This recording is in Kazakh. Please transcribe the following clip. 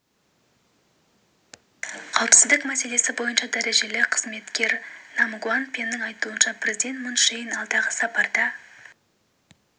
қауіпсіздік мәселесі бойынша дәрежелі қызметкер нам гуан пеннің айтуынша президент мун чже ин алдағы сапарда